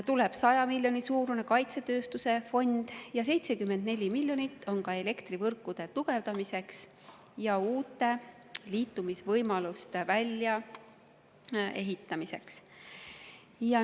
Tuleb 100 miljoni euro suurune kaitsetööstuse fond ning 74 miljonit on ette nähtud elektrivõrkude tugevdamiseks ja uute liitumisvõimaluste väljaehitamiseks.